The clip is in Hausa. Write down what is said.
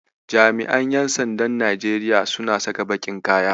Jami'an ƴan sandan Najeriya suna saka baƙin kaya.